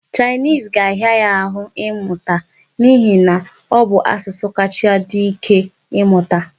Chinese ga-ahịa ya ahụ mmụta n'ihi na ọ bụ asụsụ kacha dị ike mmụta.